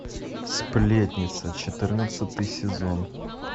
сплетница четырнадцатый сезон